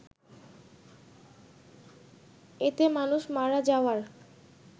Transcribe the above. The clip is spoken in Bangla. এতে মানুষ মারা যাওয়ার